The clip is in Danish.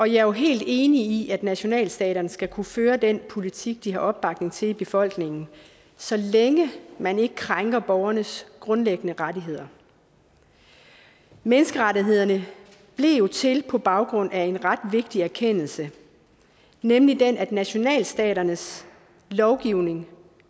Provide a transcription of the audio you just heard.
jo helt enig i at nationalstaterne skal kunne føre den politik de har opbakning til i befolkningen så længe man ikke krænker borgernes grundlæggende rettigheder menneskerettighederne blev jo til på baggrund af en ret vigtig erkendelse nemlig den at nationalstaternes lovgivning